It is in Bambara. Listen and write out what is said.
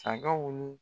Sagaw ni